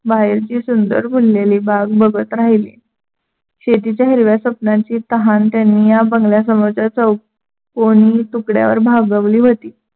बाहेरची सुंदर फुललेली बाग बघत राहिली. शेतीच्या हिरव्या स्वप्नांची तहान त्यांनी या बंगल्या समोरच्या चौकोनी तुकड्यावर भागवली होती.